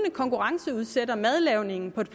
konkurrenceudsætter madlavningen på et